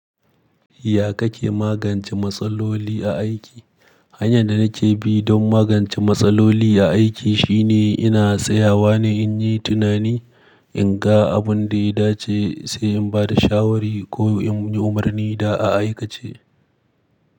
Ya kake magance matsaloli a aiki? Hanyar da nake bi don magance matsaloli a aiki shine ina tsayawa ne in yi tunani, in ga abin da ya dace sai in ba da shawari ko in yi umarni da a aikace.